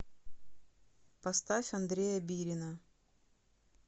поставь андрея бирина